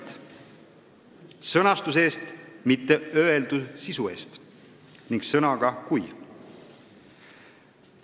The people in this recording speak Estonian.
" Ta palus vabandust sõnastuse eest, mitte öeldu sisu eest, ning kasutas sõna "kui".